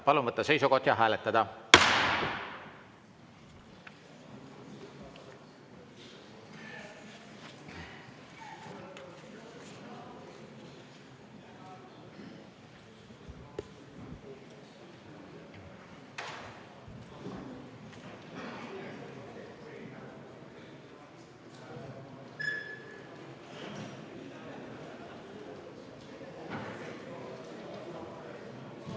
Palun võtta seisukoht ja hääletada!